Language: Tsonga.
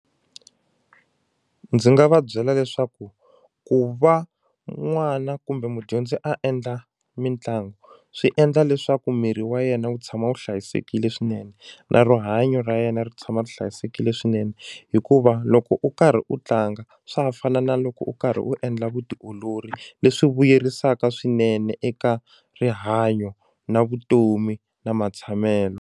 Ndzi nga va byela leswaku ku va n'wana kumbe mudyondzi a endla mitlangu swi endla leswaku miri wa yena wu tshama wu hlayisekile swinene na rihanyo ra yena ri tshama ri hlayisekile swinene hikuva loko u karhi u tlanga swa ha fani na loko u karhi u endla vutiolori leswi vuyerisaka swinene eka rihanyo na vutomi na matshamelo.